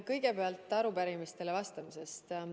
Kõigepealt arupärimistele vastamisest.